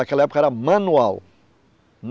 Naquela época era manual.